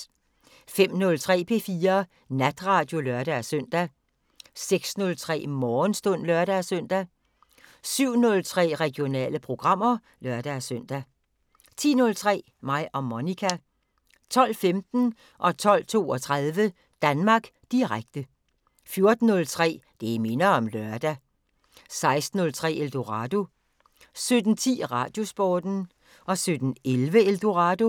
05:03: P4 Natradio (lør-søn) 06:03: Morgenstund (lør-søn) 07:03: Regionale programmer (lør-søn) 10:03: Mig og Monica 12:15: Danmark Direkte 12:32: Danmark Direkte 14:03: Det minder om lørdag 16:03: Eldorado 17:10: Radiosporten 17:11: Eldorado